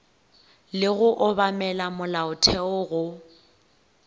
le go obamela molaotheo go